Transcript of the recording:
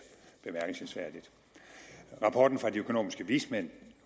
bemærkelsesværdigt rapporten fra de økonomiske vismænd